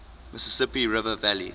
mississippi river valley